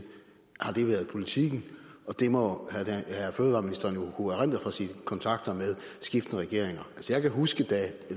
har det været politikken og det må fødevareministeren jo kunne erindre fra sine kontakter med skiftende regeringer altså jeg kan huske da